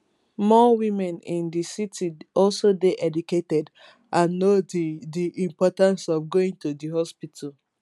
more women in di city also dey educated and know di di importance of going to di hospital